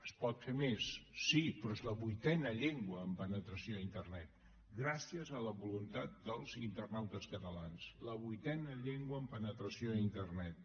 es pot fer més sí però és la vuitena llengua en penetració a internet gràcies a la voluntat dels internautes catalans la vuitena llengua en penetració a internet